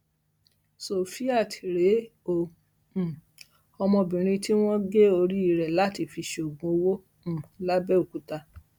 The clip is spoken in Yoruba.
sofiat rèé o um ọmọbìnrin tí wọn gé orí rẹ láti fi ṣoògùn owó um làbẹọkútà